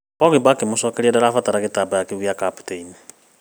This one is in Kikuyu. Pogba akĩmũcokeria darabatara gĩtambaya kĩu kĩa kaptĩini